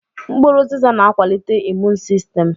Mkpụrụ ụzịza na-akwalite imuun sistem.